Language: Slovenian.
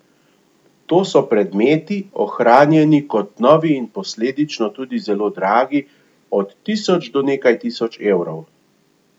To so predmeti, ohranjeni kot novi in posledično tudi zelo dragi, od tisoč do nekaj tisoč evrov.